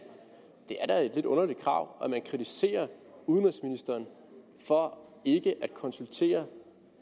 det er da et lidt underligt krav og man kritiserer udenrigsministeren for ikke at konsultere